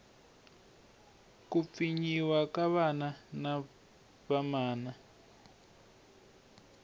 ku pfinyiwa ka vana na vamana